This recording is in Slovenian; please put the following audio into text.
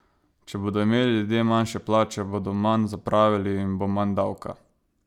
Če bodo imeli ljudje manjše plače bodo manj zapravili in bo maj davka!